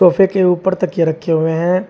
सोफे के ऊपर तकिये रखे हुए हैं।